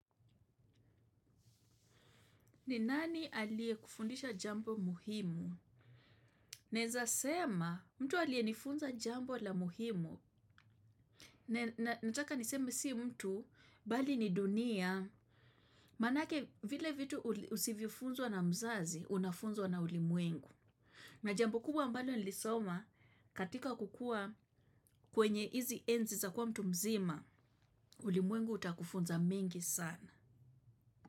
Ni nani aliyekufundisha jambo muhimu? Naeza sema, mtu aliyenifunza jambo la muhimu. Nataka niseme si mtu, bali ni dunia. Manake vile vitu usivyofunzwa na mzazi, unafunzwa na ulimwengu. Na jambo kubwa ambalo nilisoma, katika kukua kwenye izi enzi za kuwa mtu mzima, ulimwengu utakufunza mengi sana.